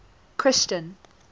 christian